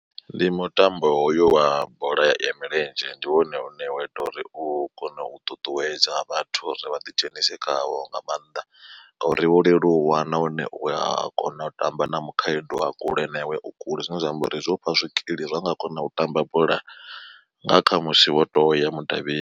Ndi mutambo hoyo wa bola ya milenzhe ndi wone une wa ita uri u kone u ṱuṱuwedza vhathu uri vha ḓi dzhenise khawo nga maanḓa, ngori wo leluwa nahone uya kona u tamba na mukhaedu a kule na iwe u kule zwine zwa amba uri zwo u fha zwikili zwa u nga kona u tamba bola nga kha musi wo to ya mudavhini.